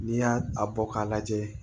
N'i y'a a bɔ k'a lajɛ